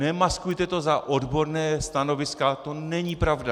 Nemaskujte to za odborná stanoviska, to není pravda.